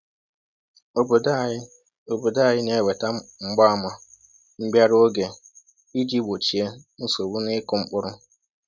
Obodo anyị Obodo anyị na-enweta mgbaàmà mbịarụ oge iji gbochie nsogbu n’ịkụ mkpụrụ.